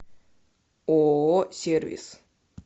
ооо сервис